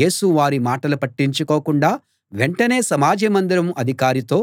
యేసు వారి మాటలు పట్టించుకోకుండా వెంటనే సమాజ మందిరం అధికారితో